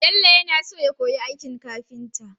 Bello ya naso ya koyi aikin kafinta